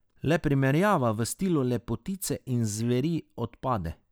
Le primerjava v stilu lepotice in zveri odpade.